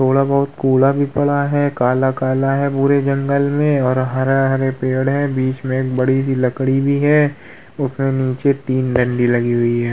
थोड़ा बोहोत कूड़ा भी पड़ा हैं काला-कला है पूरे जंगल मे और हरा-हरे पेड़ है और बीच में बड़ी सी लकड़ी भी है उसमे नीचे तीन डंडी लगी हुई हैं।